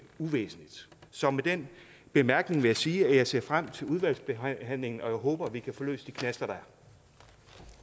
uvæsentligt så med den bemærkning vil jeg sige at jeg ser frem til udvalgsbehandlingen og at jeg håber at vi kan få løst de knaster